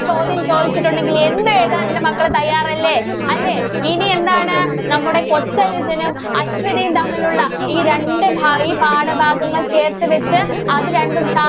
ചോദ്യം ചോദിച്ചിട്ടുണ്ടെങ്കിൽ എന്ത് എഴുതാന്‍ എന്‍റെ മക്കള് തയ്യാറല്ലേ? അല്ലേ? ഇനി എന്താണ്? നമ്മുടെ കൊച്ചനുജനും, അശ്വതിയും തമ്മിലുള്ള ഈ രണ്ട് ഭാ ഈ പാഠഭാഗങ്ങള്‍ ചേര്‍ത്ത് വച്ച് അത് രണ്ടും